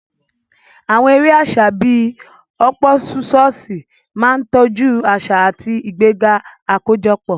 Àwọn eré àṣà bíi họ́ọ́púsọọ̀ṣì máa ń tọ́jú àṣà àti ìgbéga àkójọpọ̀.